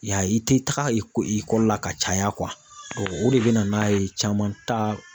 I y'a ye i tɛ taga ekɔli la ka caya o de bɛ na n'a ye caman ta